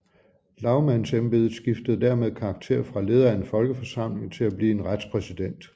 Lagmandsembedet skiftede dermed karakter fra leder af en folkeforsamling til at blive en retspræsident